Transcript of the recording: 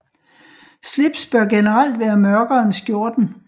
Slips bør generelt være mørkere end skjorten